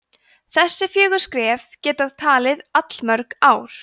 þessi fjögur skref geta tekið allmörg ár